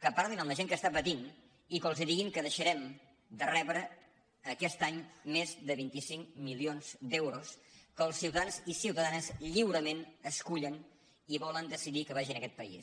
que parlin amb la gent que està patint i que els diguin que deixarem de rebre aquest any més de vint cinc milions d’euros que els ciuta·dans i ciutadanes lliurement escullen i volen decidir que vagin a aquest país